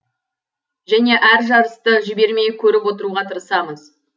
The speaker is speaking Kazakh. және әр жарысты жібермей көріп отыруға тырысамыз